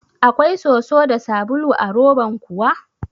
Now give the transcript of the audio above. Akwai soso da sabulu a roban kuwa?